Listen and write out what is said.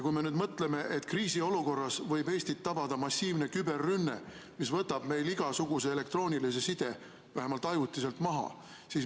Kui me nüüd mõtleme, et kriisiolukorras võib Eestit tabada massiivne küberrünne, mis võtab meil igasuguse elektroonilise side vähemalt ajutiselt maha.